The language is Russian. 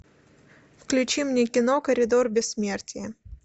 включи мне кино коридор бессмертия